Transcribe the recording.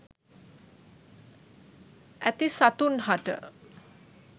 ඇති සතුන් හට